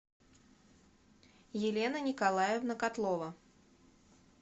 елена николаевна котлова